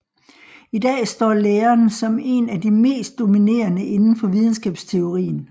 I dag står læren som en af de mest dominerende inden for videnskabsteorien